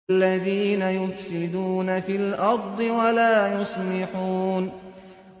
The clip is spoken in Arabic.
الَّذِينَ يُفْسِدُونَ فِي الْأَرْضِ وَلَا يُصْلِحُونَ